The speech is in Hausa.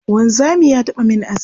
Wanzami ya taɓa min aski.